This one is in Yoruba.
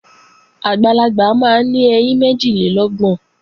Àgbàlagbà máa ń ní ẹyín méjìlélọ́gbọ̀n